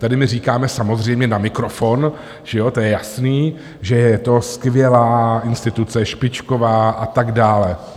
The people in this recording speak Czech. Tady my říkáme samozřejmě na mikrofon, že ano, to je jasné, že je to skvělá instituce, špičková a tak dále.